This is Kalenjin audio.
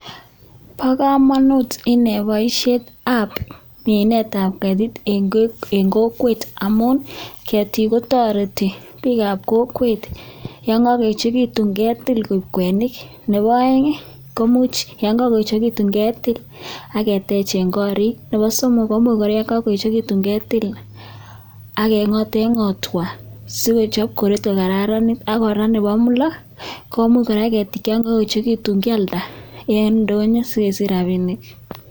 Bo komonut inei boishietab minetab keetik en kokwet amun keetik kotoretii bik ab kokwet yon kokoyechekitun ketil koik kwenik. Nebo oeng yon kokoyechekitun ketil agetegen gorik, Nebo somok koimuch kora yon kakoyechekitun ketil ak kengoten gotwaa sikochob koret kokararanit ak Nebo let komuch keetik yon kakoyechekituun kialda sikesich rabinik en ndonyoo